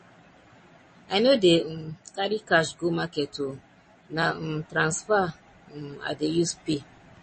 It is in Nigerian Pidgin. i no dey um carry cash go market o na um transfer um i dey use pay